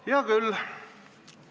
Hea küll!